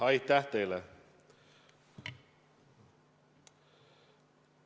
Aitäh teile!